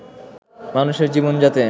মানুষের জীবন যাতে